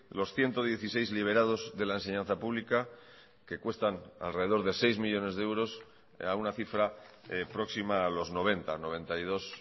los ciento dieciséis liberados de la enseñanza pública que cuestan alrededor de seis millónes de euros a una cifra próxima a los noventa noventa y dos